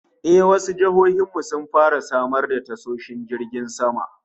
Eh, wasu jihohin mu sun fara samar da tashoshin jiragen sama